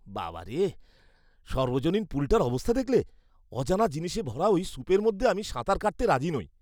বাবা রে, সর্বজনীন পুলটার অবস্থা দেখলে? অজানা জিনিসে ভরা ওই সুপের মধ্যে আমি সাঁতার কাটতে রাজি নই।